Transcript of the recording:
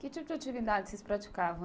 Que tipo de atividade vocês praticavam?